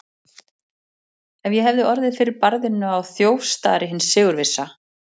Að ég hefði orðið fyrir barðinu á þjófstarti hins sigurvissa.